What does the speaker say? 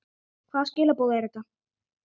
Hvaða skilaboð eru þetta?